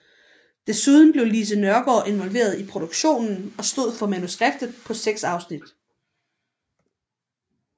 Desuden blev Lise Nørgaard involveret i produktionen og stod for manuskriptet på seks afsnit